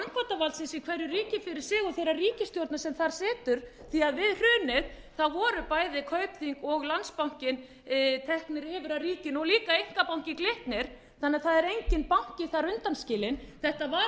og þeirrar ríkisstjórnar sem þar situr því að því að við hrunið voru bæði kaupþing og landsbankinn teknir yfir af ríkinu og líka einkabankinn glitnir þannig að það er enginn banki þar undanskilinn það var tekin ákvörðun um þetta